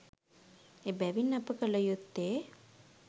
එබැවින් අප කළ යුත්තේ